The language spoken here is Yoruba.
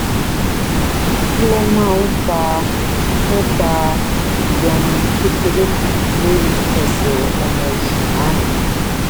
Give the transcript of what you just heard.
kí ló máa ń fa ń fa ìyọnu kékeré kan lórí ẹsè ọmọ oṣù márùnún